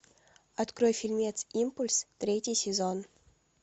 открой фильмец импульс третий сезон